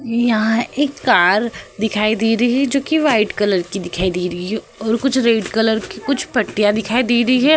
ये यहाँ एक कार दिखाई दे रही है जो कि व्हाइट कलर की दिखाई दे रही हैॅ और कुछ रेड कलर कि कुछ पट्टिया दिखाई दे रही हैं।